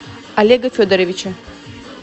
олега федоровича